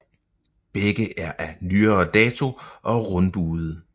Begge er af nyere dato og rundbuede